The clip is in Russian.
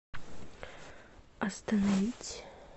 остановить